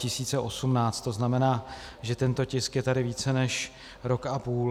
To znamená, že tento tisk je tady více než rok a půl.